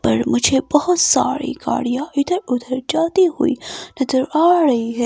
पर मुझे बहोत सारी गाड़ियां इधर उधर चलती हुई नजर आ रही है।